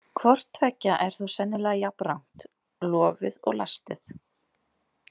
Hvort tveggja er þó sennilega jafnrangt, lofið og lastið.